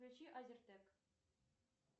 включи азертэг